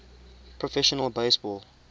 professional base ball